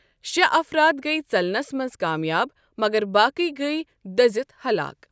شٚے افراد گٔیہِ ژلنَس منٛز کامیاب، مگر باقٕے گٔیہِ دٔزِتھ ہلاک۔